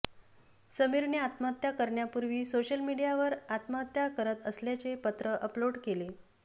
समीरने आत्महत्या करण्यापूर्वी सोशल मीडियावर आत्महत्या करत असल्याचे पत्र अपलोड केले